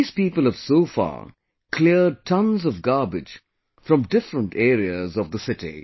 These people have so far cleared tons of garbage from different areas of the city